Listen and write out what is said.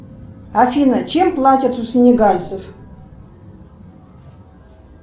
афина чем платят у синегальцев